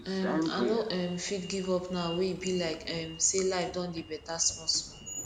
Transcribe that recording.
um i no um fit give up now wey e be like um say life don dey beta small small